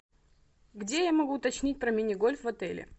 где я могу уточнить про мини гольф в отеле